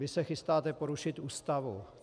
Vy se chystáte porušit Ústavu.